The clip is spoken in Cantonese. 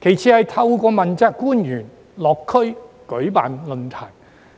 其次是透過問責官員落區舉辦論壇、